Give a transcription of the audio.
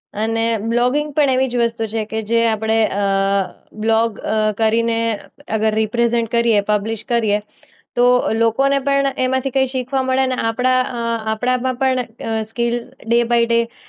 અને બ્લોગિંગ પણ એવી જ વસ્તુ છે કે જે આપણે અ બ્લોગ કરીને અગર રીપ્રેઝન્ટ કરીએ પબ્લિશ કરીએ તો લોકોને પણ એમાંથી કંઈ શીખવા મળે અને આપણા આપણામાં પણ સ્કિલ ડે બાઈ ડે